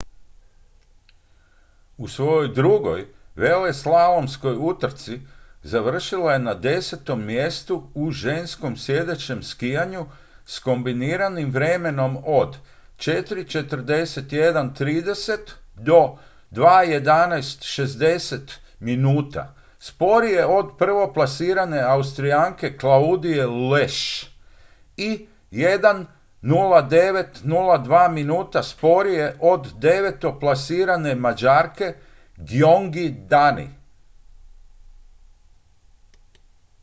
u svojoj drugoj veleslalomskoj utrci završila je na desetom mjestu u ženskom sjedećem skijanju s kombiniranim vremenom od 4:41.30 – 2:11.60 minuta sporije od prvoplasirane austrijanke claudije loesch i 1:09.02 minuta sporije od devetoplasirane mađarke gyöngyi dani